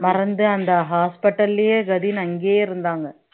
மறந்து அந்த hospital லயே கதின்னு அங்கேயே இருந்தாங்க